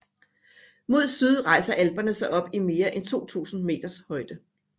Mod syd rejser Alperne sig op i mere end 2000 meters højde